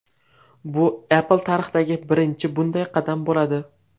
Bu Apple tarixidagi birinchi bunday qadam bo‘ladi.